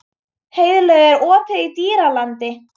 Heiðlaug, er opið í Dýralandi?